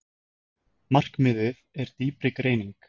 Markmiðið er dýpri greining